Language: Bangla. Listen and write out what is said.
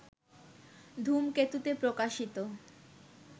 ধূমকেতুতে প্রকাশিত